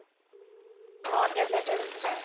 অ, tablet য়ে কৈছে তাই